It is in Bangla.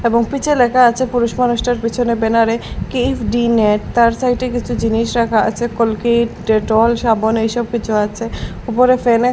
এবং পিছে লেখা আছে পুরুষ মানুষটার পিছনে ব্যানার -এ কেইফ ডি নেট তার সাইড -এ কিছু জিনিস রাখা আছে কোলগেট ডেটল সাবন এইসব কিছু আছে উপরে ফ্যান -এ --